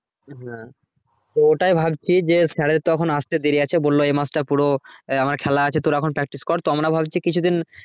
তো ওটাই ভাবছি যে sir তো এখন আস্তে দেরি আছে বললো এই মাস টা পুরো আমার খেলা আছে তোরা এখন practice কর তো আমরা ভাবছি